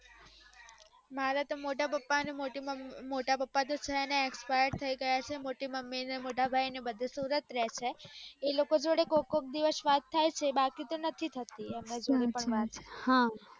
મારે તો મોટા પપ્પા મોટી મમ્મી મોટા પપ્પા તો છેને expire થય ગયા છે મોટી મમ્મી ને મોટા ભાઈ ને ને બધા સુરત રે છે એ લોકો જોડે કોક કોક દિવસ વાત થાય છે બાકી તો નથી થતી